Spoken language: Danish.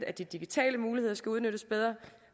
at de digitale muligheder skal udnyttes bedre